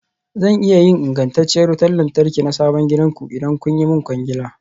Zan iya yin ingantacciyar wutar lantarki na sabon gidanku, idan kun yi min kwangila.